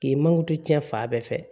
K'i mango tiɲɛ fan bɛɛ fɛ